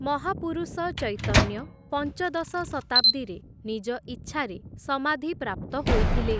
ମହାପୁରୁଷ ଚୈତନ୍ୟ, ପଞ୍ଚଦଶ ଶତାବ୍ଦୀରେ, ନିଜ ଇଚ୍ଛାରେ ସମାଧିପ୍ରାପ୍ତ ହୋଇଥିଲେ ।